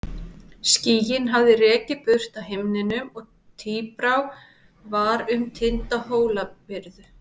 Skýin hafði rekið burt af himninum og tíbrá var um tinda Hólabyrðu.